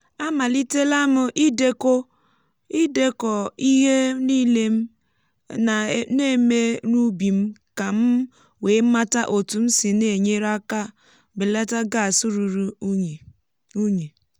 amalitela m idekọ ihe nile m um na-eme n’ubi m ka m wee mata otú m si na-enyere aka belata gas ruru unyi. unyi.